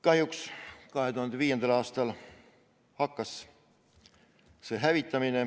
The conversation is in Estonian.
Kahjuks 2005. aastal hakkas see hävitamine.